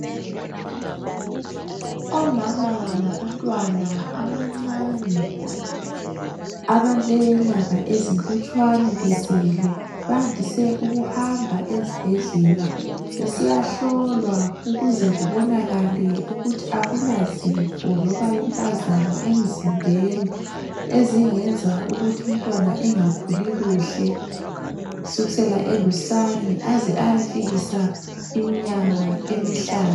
Omama labantwana abancane abalenyanga ezilutshwane bezelwe, bandise ukuhamba ezibhedlela besiyahlolwa ukuze kubonakale ukuthi akulazifo loba impazamo emzimbeni, ezingenza ukuthi umntwana engakhuli kuhle kusukisela elusane aze ayefika iminyaka emihlanu.